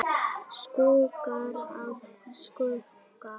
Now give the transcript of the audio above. Skuggar af skugga.